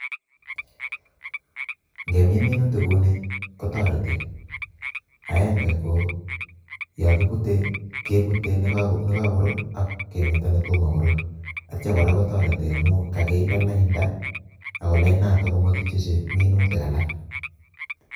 Ingemin minutik kouni kotoretii, aenge KO en yu koyokibute, kebute nekokoruur ak kemeto netomo korur, ak yeityo kotoreti amun kokinde lainda ako lainda kobo kityok minutik alak